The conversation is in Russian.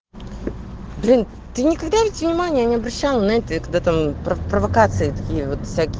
блин ты никогда ведь внимания не обращала на это я когда там провокации там всяки